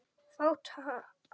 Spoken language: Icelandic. Fátt annað.